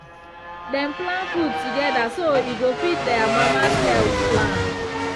dem plan food together so e go fit their mama’s health plan.